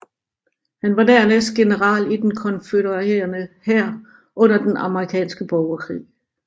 Han var dernæst general i den konfødererede hær under den amerikanske borgerkrig